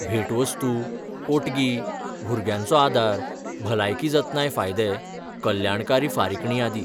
भेटवस्तू, पोटगी, भुरग्यांचो आदार, भलायकी जतनाय फायदे, कल्याणकारी फारीकणी आदी.